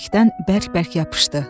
Dəyənəkdən bərk-bərk yapışdı.